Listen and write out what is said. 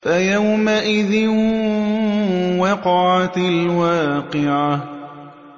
فَيَوْمَئِذٍ وَقَعَتِ الْوَاقِعَةُ